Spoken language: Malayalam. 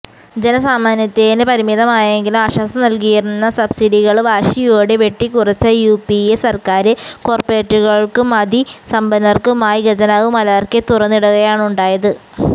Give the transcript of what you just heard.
ജനസാമാന്യത്തിന് പരിമിതമായെങ്കിലും ആശ്വാസം നല്കിയിരുന്ന സബ്സിഡികള് വാശിയോടെ വെട്ടിക്കുറച്ച യുപിഎ സര്ക്കാര് കോര്പറേറ്റുകള്ക്കും അതി സമ്പന്നര്ക്കുമായി ഖജനാവ് മലര്ക്കെ തുറന്നിടുകയാണുണ്ടായത്